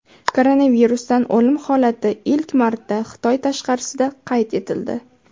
Koronavirusdan o‘lim holati ilk marta Xitoy tashqarisida qayd etildi.